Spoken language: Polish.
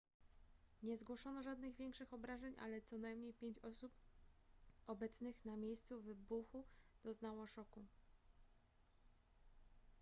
nie zgłoszono żadnych większych obrażeń ale co najmniej pięć osób obecnych na miejscu wybuchu doznało szoku